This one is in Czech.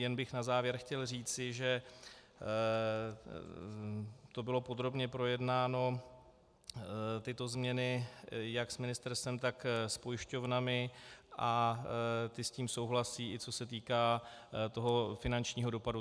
Jen bych na závěr chtěl říci, že to bylo podrobně projednáno, tyto změny, jak s ministerstvem, tak s pojišťovnami a ty s tím souhlasí, i co se týká toho finančního dopadu.